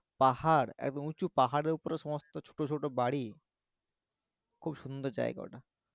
পাহাড় একদম উঁচু পাহাড়ের উপরে সমস্ত ছোট ছোট বাড়ি খুব সুন্দর জাইগা ওটা